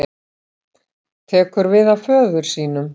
Tekur við af föður sínum